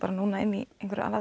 inn í